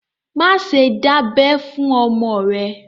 Má ṣe dábẹ fún ọmọ rẹ̀!